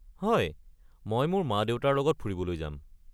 হয়, মই মোৰ মা-দেউতাৰ লগত ফুৰিবলৈ যাম।